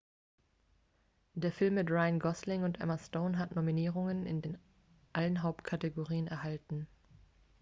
der film mit ryan gosling und emma stone hat nominierungen in allen hauptkategorien erhalten